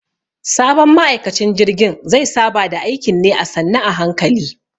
Sabon ma'aikacin jirgin ze saba da aikin ne a sannu a hankali.